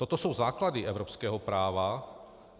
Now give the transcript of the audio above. Toto jsou základy evropského práva.